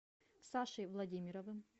сашей владимировым